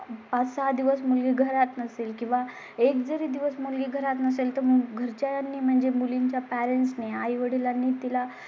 पाच सहा दिवस मग मी घरात नसेल किंवा एक जरी दिवस मुलगी घरात नसेल तर मग घरच्यां नी म्हणजे मुलींच्या पॅरेन्टने आई वडिलां नी तिला